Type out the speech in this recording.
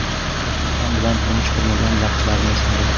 Rafiqam bilan turmush qurmagan vaqtlarni esladim.